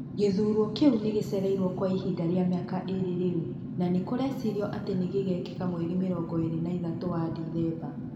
Gũthurwo kiu nigĩchereirwo kwa ivinda rĩa mĩaka ĩĩrĩ rĩu, na nĩ nĩkũrecĩrĩrwo atĩ nigigekika mweri mĩrongo ĩĩrĩ na ĩtatũ wa Dithemba.